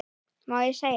Má segja?